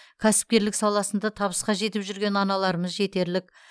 кәсіпкерлік саласында табысқа жетіп жүрген аналарымыз жетерлік